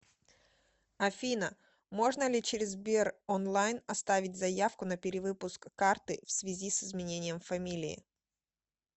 афина можно ли через сбер онлайн оставить заявку на перевыпуск карты в связи с изменением фамилии